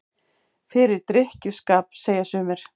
Fyrir drykkju- skap, segja sumir.